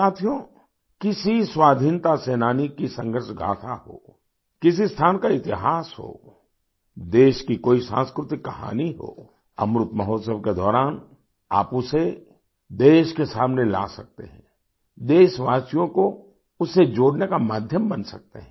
साथियो किसी स्वाधीनता सेनानी की संघर्ष गाथा हो किसी स्थान का इतिहास हो देश की कोई सांस्कृतिक कहानी हो अमृत महोत्सव के दौरान आप उसे देश के सामने ला सकते हैं देशवासियों को उससे जोड़ने का माध्यम बन सकते हैं